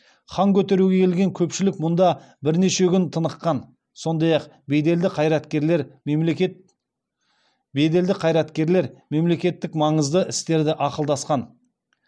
хан көтеруге келген көпшілік мұнда бірнеше күн тыныққан сондай ақ беделді қайраткерлер мемлекеттік маңызды істерді ақылдасқан